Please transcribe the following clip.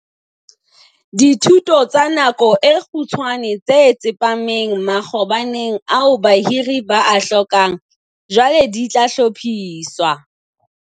Dithuto tsa nako e kgutshwane tse tsepameng makgabaneng ao bahiri ba a hlokang, jwale di tla hlophiswa.